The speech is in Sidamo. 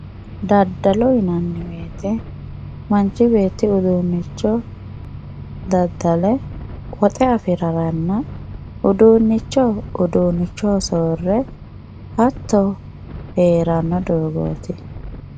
daddalo yinay woyte manchi beetti uduunnicho daddale woxe afi'raranna uduunnicho uduunnichoho soore hatto hee'ranno doogooti.